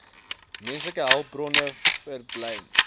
menslike hulpbronne vaartbelyn